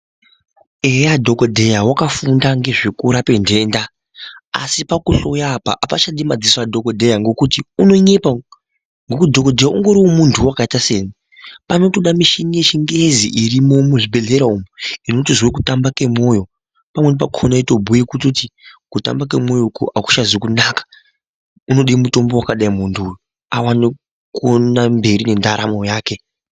"Eya," dhokodheya wakafunda ngezvekurape ntenda! Asi pakuhluya apa apachadi madziso adhokodheya ngekuti unonyepa ngokuti dhokodheya ungoriwo muntuwo wakaita seni. Panotoda mishini yechingezi irimo muzvi bhedhlera umo inoita zvekutamba ngemwoyo, pamweni pakona yotobhuye kutoti kutamba ngemwoyo uku akuchazi kunaka, unode mutombo wakadai muntu awane kuende mberi nendaramo yake.